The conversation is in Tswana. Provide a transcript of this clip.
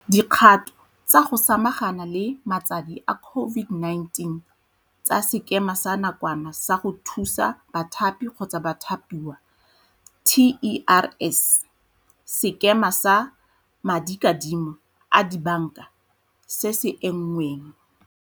dikgato tsa go sama gana le matsadi a COVID-19 tsa Sekema sa Nakwana sa go Thusa Bathapi-Bathapiwa, TERS, Sekema sa Madikadimo a Dibanka se se Engweng.